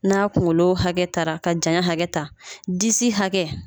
N'a kunkolo hakɛ tara ka janya hakɛ ta disi hakɛ